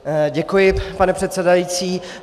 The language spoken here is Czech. Děkuji, pane předsedající.